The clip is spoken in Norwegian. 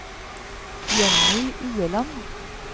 Jenny Ueland